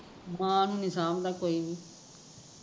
ਮਾਂ ਨੂ ਨੀ ਸਾਂਬਦਾ ਕੋਈ ਵੀ